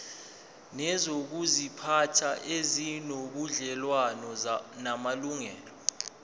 nezokuziphatha ezinobudlelwano namalungelo